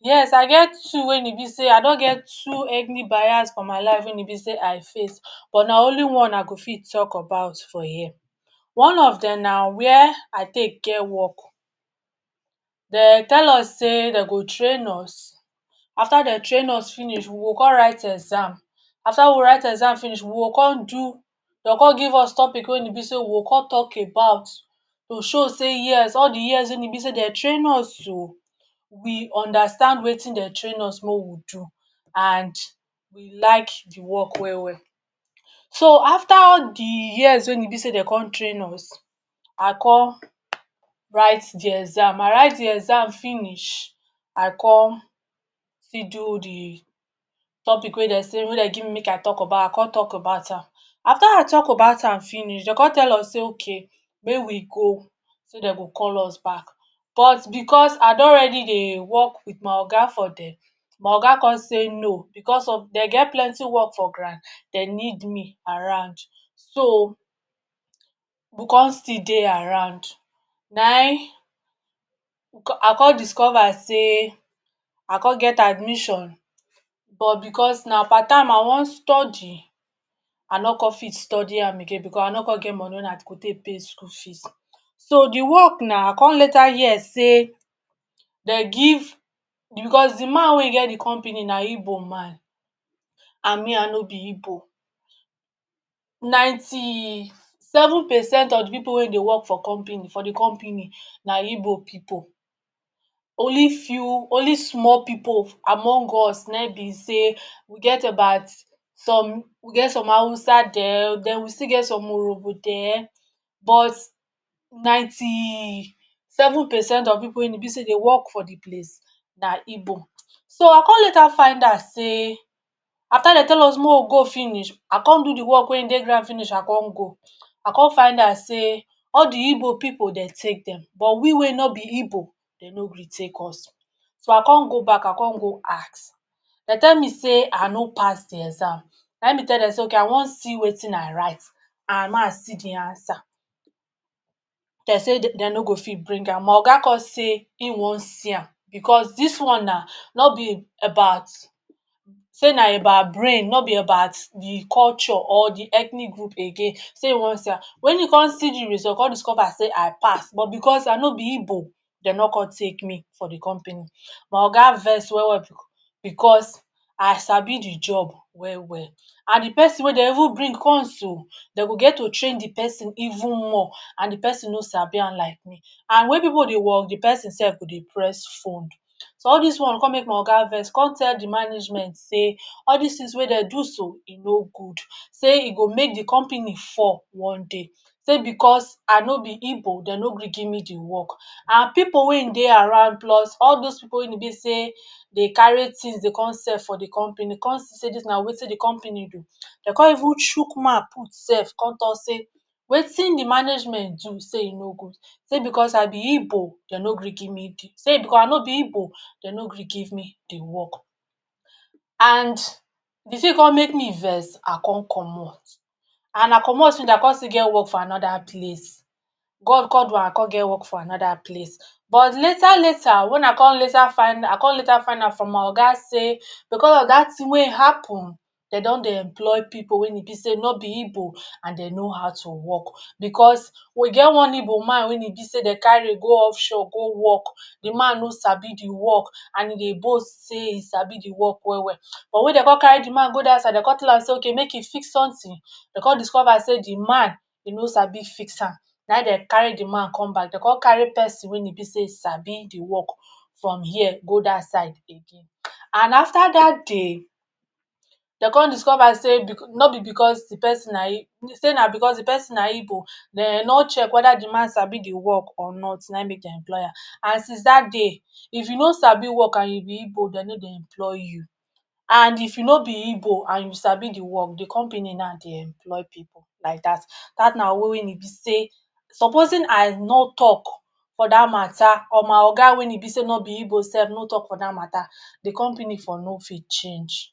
Yes! I get two wen e be sey I don get two ethnic bias for my life wey e be sey I face, but na only one I go fit talk about for here. One of dem na where I take get work. De tell us sey de go train us, after de train us finish, we go come write exam. After we write exam finish, we go come do de go come give us topic wey e be sey we go come talk about to show sey yes, all the years wey e be sey de train us so, we understand wetin de train us make we do and we like the work well-well. So, after the years wen e be sey de come train us, I come write the exam, I write the exam finish, I come video the topic wey de sey wey de give me make I talk about, I come talk about am. After I talk about am finish, de come tell us say okay make we go sey de go call us back. But because I don ready dey work with my oga for there, my oga come say no. Because of de get plenty work for ground, de need me around, so we come still dey around. Naim I come discover sey I come get admission but because na part-time I wan study, I no come fit study am again because I no come get money wen I go take pay school fees. So the work na, I come later hear sey de give because the man wey get the company na Igbo man and me I no be Igbo. Ninety seven percent of the pipu wey dey work for company for the company na Igbo pipu, only few only small pipu among us naim be sey we get about some we get some Hausa-dem, then we still get dem Urhobo-dem, but ninety seven percent of pipu wey e be sey dey work for the place na Igbo. So I come later find out sey after de tell us make we go finish, I come do the work wey e dey ground finish I come go, I come find out sey all the igbo pipu de take dem, but we wey no be igbo, de no gree take us. So I come go back I come go ask. De tell me sey I no pass the exam. Naim me tell dem sey okay I wan see wetin I write and mey i see the answer. De say de no go fit bring am. My oga come say e won see am because dis one na no be about sey na about brain, no be about the culture or the ethnic group again sey e won see am. When e come see the result come discover sey I pass, but because I no be Igbo de no come take me for the company. My oga vex well-well because I sabi the job well-well. And the pesin wey de even bring come so, de go get to train the pesin even more and the pesin no sabi am like me. And when pipu dey work, the pesin sef go dey press phone. So all dis one come make my oga vex come tell the management sey all dis things wey de do so, e no good sey e go make the company fall one day. Sey because I no be Igbo, de no gree give me the work. And pipu wey ein dey around plus all those pipu wey be sey de carry things dey come sell for the company con see sey dis na wetin the company do, de come even chook mouth put sef come talk say wetin the management do sey e no good. Sey because I be Igbo de no gree give me the sey because I no be Igbo de no gree give me the work. And the thing come make me vex I come comot. And I comot finish, I come still get work for another place. God come do am I come get work for another place. But later-later when I come later find I come later find out from my oga sey because of that thing wey happen de don dey employ pipu wey e be sey no be Igbo and de know how to work. Because we get one Igbo man wey e be sey de carry go offshore go work. The man no sabi the work and e dey boast sey e sabi the work well-well. But when de come carry the man go that side, de come tell am sey okay make e fix something, de come discover sey the man e no sabi fix am. Naim dey carry the man come back, de come carry pesin wey e be sey sabi the work from here go that side again. And after that day, de come discover sey no be because the pesin na sey na because the pesin na Igbo, de no check whether the man sabi the work or not naim make dem employ am. And since that day, if you no sabi work and you be Igbo, de no dey employ you. And if you no be Igbo and you sabi the work, the company now dey employ pipu like that. That na way wey e be sey supposing I nor talk for that mata or my oga wey e be sey no be Igbo no talk for that mata, the company for no fit change.